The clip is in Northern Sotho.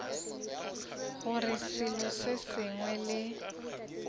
gore selo se sengwe le